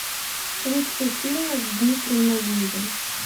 лучшие фильмы с дмитрием нагиевым